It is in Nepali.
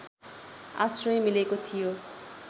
आश्रय मिलेको थियो